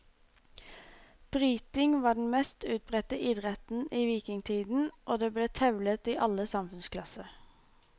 Bryting var den mest utbredte idretten i vikingtiden og det ble tevlet i alle samfunnsklasser.